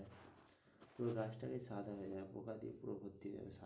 পুরো গাছটা সাদা হয়ে যাবে পোকাতেই পুরো ভর্তি হয়ে যাবে।